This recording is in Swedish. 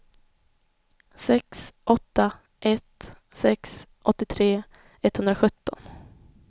sex åtta ett sex åttiotre etthundrasjutton